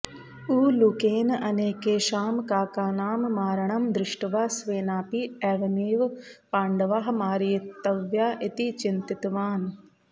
उलूकेन अनेकेषां काकानां मारणं दृष्ट्वा स्वेनापि एवमेव पाण्डवाः मारयितव्याः इति चिन्तितवान्